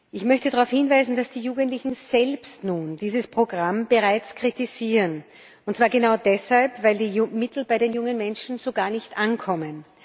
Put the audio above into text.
Ich möchte darauf hinweisen, dass die Jugendlichen selbst nun dieses Programm bereits kritisieren, und zwar genau deshalb, weil die Mittel bei den jungen Menschen so gar nicht ankommen.